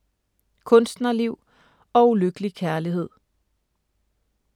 Kunstnerliv og ulykkelig kærlighed